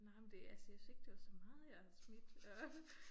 Nej men det altså jeg synes ikke det var så meget jeg har smidt og